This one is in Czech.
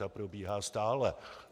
Ta probíhá stále.